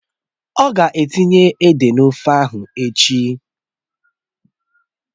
Ọ̀ ga etinye ede n'ofe ahụ echi